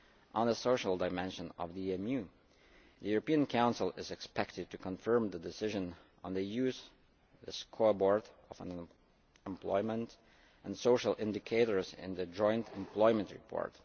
On the social dimension of the EMU, the European Council is expected to confirm the decision on the use of the scoreboard of employment and social indicators in the Joint Employment Report.